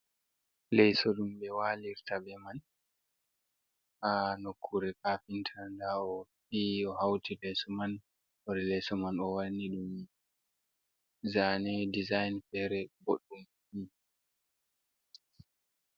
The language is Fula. Leso ɗum ɓe walirta be man ha nokkure kafinta nda o fi o hauti leso man hore leso man wanni ɗum zane dizayn fere boɗɗum.